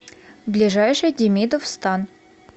ближайший демидов стан